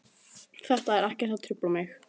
Þetta er ekkert sem truflar mig.